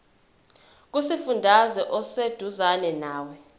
kusifundazwe oseduzane nawe